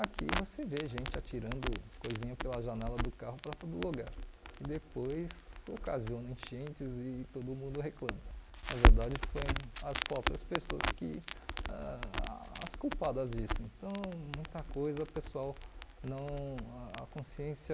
aqui você vê gente atirando coisinha pela janela do carro para todo lugar e depois ocasiona enchentes e todo mundo reclama na verdade foi as próprias pessoas que ãh as culpadas disso então muita coisa pessoal não a consciência